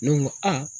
Ne ko n ko aa